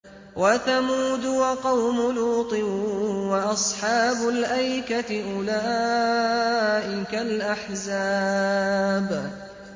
وَثَمُودُ وَقَوْمُ لُوطٍ وَأَصْحَابُ الْأَيْكَةِ ۚ أُولَٰئِكَ الْأَحْزَابُ